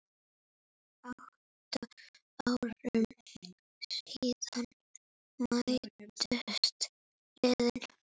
Átta árum síðan mættust liðin.